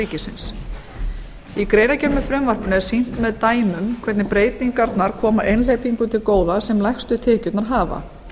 ríkisins í greinargerð með frumvarpinu er sýnt með dæmum hvernig breytingarnar koma einhleypingum til góða sem lægstu tekjurnar hafa